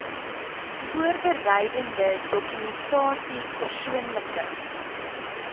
voorbereidende dokumentasie persoonlike